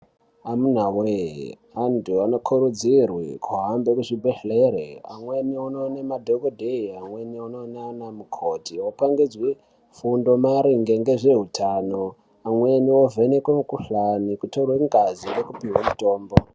Amuna wee! anthu anokurudzirwe kuhambe muzvibhedhlere, amweni onoone madhokodheya, amweni onoona anamukoti opangidzwe fundo maringe nezveutano, amweni ovhenekwe mukuhlanio, kutorwe ngazi nekupiwe mutombo.